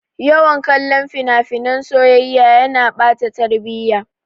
Yawan kallon fina-finan soyayya yana ɓata tarbiya.